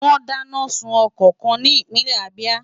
Wọ́n dáná sun ọkọ̀ kan ní ìpínlẹ̀ Abia.